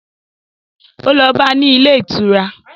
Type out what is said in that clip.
Ó lọ bá a ní ilé ìtura